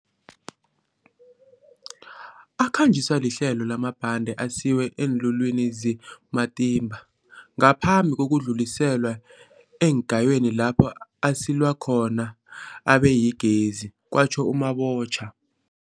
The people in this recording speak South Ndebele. Akhanjiswa lihlelo lamabhande asiwe eenlulwini ze-Matimba ngaphambi kokudluliselwa eengayweni lapho asilwa khona abeyigezi, kwatjho u-Mabotja.